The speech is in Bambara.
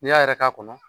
N'i y'a yɛrɛ k'a kɔnɔ